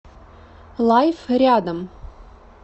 лайф рядом